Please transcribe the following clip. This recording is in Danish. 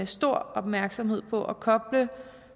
stor opmærksomhed på at koble